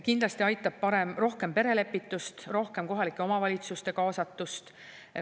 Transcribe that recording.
Kindlasti aitab, kui on rohkem perelepitust, rohkem kohalike omavalitsuste kaasatust.